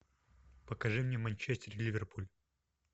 покажи мне манчестер ливерпуль